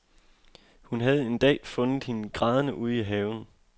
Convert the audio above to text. Hun havde en dag fundet hende grædende ude i haven.